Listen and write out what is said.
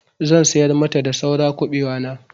Zan sayar mata da saura kuɓewa na.